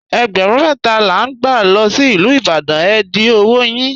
Ègbérún mẹta la n gbà lọ sí Ilú Ìbàdàn, è dì ọwọ́ yín.